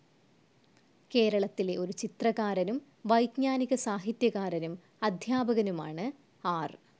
കേരളത്തിലെ ഒരു ചിത്രകാരനും വൈജ്ഞാനികസാഹിത്യകാരനും അദ്ധ്യാപകനുമാണ് ആർ.